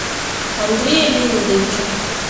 андрея леонидовича